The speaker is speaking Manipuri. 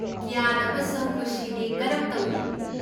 ꯀ꯭ꯌꯥꯟ ꯑꯃꯁꯨꯡ ꯈꯨꯁꯤꯗꯤ ꯀꯔꯝ ꯇꯧꯔꯤ?